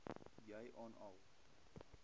jy aan al